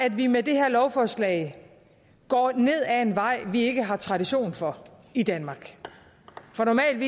at vi med det her lovforslag går ned ad en vej vi ikke har tradition for i danmark for normalt